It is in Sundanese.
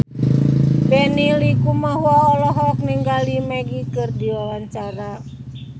Benny Likumahua olohok ningali Magic keur diwawancara